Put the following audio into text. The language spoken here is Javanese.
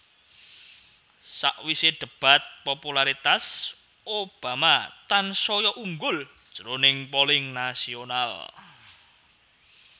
Sawisé débat popularitas Obama tansaya unggul jroning polling nasional